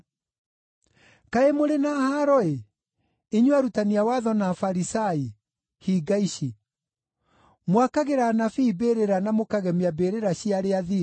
“Kaĩ mũrĩ na haaro-ĩ, inyuĩ arutani a watho na Afarisai, hinga ici! Mwakagĩra anabii mbĩrĩra na mũkagemia mbĩrĩra cia arĩa athingu.